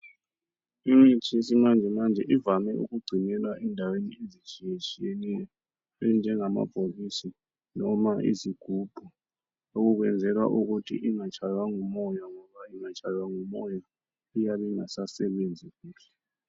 Imithi yesimanjemanje ivame ukugcinelwa endaweni ezitshiyetshiyeneyo enjengamabhokisi, noma izigubhu ukwenzela ukuthi ingatshaywa ngumoya ngoba ingatshaywa ngumoya iyabe ingasasebenzi.